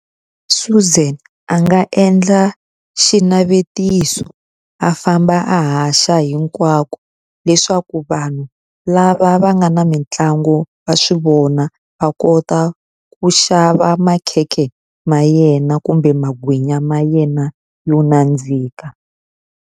Suzan a nga endla xinavetiso a famba a haxa hinkwako leswaku vanhu lava va nga na mitlangu wa swi vona va kota ku xava makhekhe ma yena kumbe magwinya ma yena yo nandzika.